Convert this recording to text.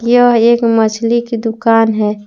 यह एक मछली की दुकान है।